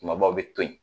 Kumabaw bɛ to yen